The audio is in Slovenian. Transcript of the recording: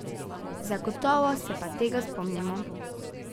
Zagotovo se pa tega spomnimo.